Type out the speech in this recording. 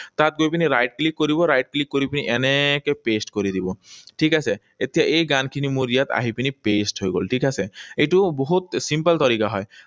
তাত গৈ পিনি right click কৰিব, right click কৰি পিনি এনেকৈ paste কৰি দিব। ঠিক আছে? এতিয়া এই গানখিনি মোৰ ইয়াত আহি পিনি paste হৈ গল, ঠিক আছে? এইটো বহুত simple তৰিকা হয়।